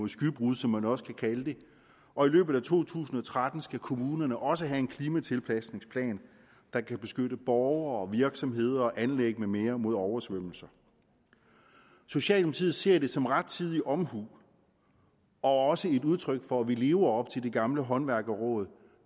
skybrud som man også kan kalde det og i løbet af to tusind og tretten skal kommunerne også have en klimatilpasningsplan der kan beskytte borgere virksomheder anlæg med mere mod oversvømmelser socialdemokratiet ser det som rettidig omhu og også som et udtryk for at vi lever op til det gamle håndværkerråd